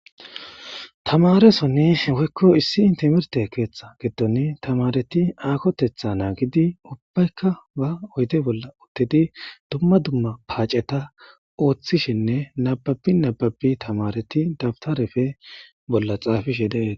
Tamaresonni woykko issi intemerte keeththa giddon tamareti aakotetha naagidi ubbaykka ba oyte bolla uttedi dumma dumma paaceta ooththishinne nababi nababi tamareti dabtarefe bolla xaafishe deei.